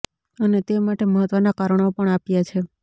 અને તે માટે મહત્વના કારણો પણ આપ્યા છે